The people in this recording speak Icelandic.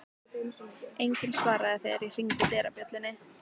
Enginn svaraði þegar ég hringdi dyrabjöllunni.